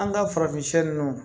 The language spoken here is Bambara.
An ka farafin ninnu